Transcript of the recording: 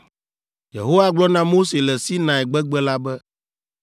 Yehowa gblɔ na Mose le Sinai gbegbe la be,